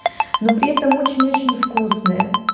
но при этом очень очень вкусные